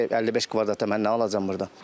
55 kvadrata mən nə alacam burda?